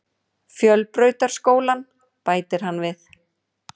Fjölbrautaskólann, bætir hann við.